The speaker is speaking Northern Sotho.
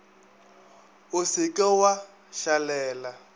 o se ke wa šalela